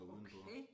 Okay